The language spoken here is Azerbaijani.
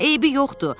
Hmm, eybi yoxdur.